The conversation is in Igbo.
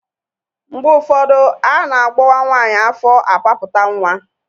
Mgbe ụfọdụ a na-agbọwa nwaanyị afọ apapụta nwa.